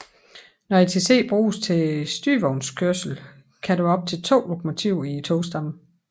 Når ITC bruges til styrevognskørsel kan der være op til to lokomotiver i togstammen